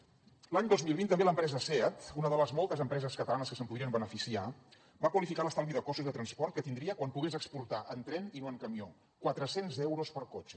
l’any dos mil vint també l’empresa seat una de les moltes empreses catalanes que se’n podrien beneficiar va qualificar l’estalvi de costos de transport que tindria quan pogués exportar en tren i no en camió quatre cents euros per cotxe